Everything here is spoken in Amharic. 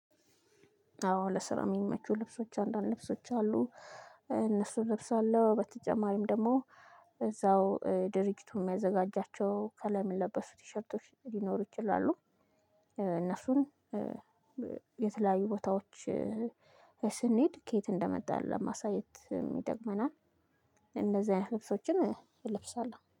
አዎ ለስራ የሚመቹ ልብሶች አንዳንድ ልብሶች አሉ እነሱ ልብስ አለው በተጨማሪም ደግሞ እዛው ድርጅቱ የሚያዘጋጃቸው ከላይ የሚለበሱ ቲሸርቶች ሊኖሩ ይችላሉ። እነሱን የተለያዩ ቦታዎች ስንሄድ ከየት እንደመጣን ለማሳየት ይጠቅመናል። እንደዚህ አይነት ልብሶችን እለብሳለሁ